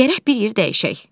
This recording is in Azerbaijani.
Gərək bir yer dəyişək.